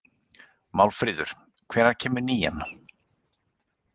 Málfríður, hvenær kemur nían?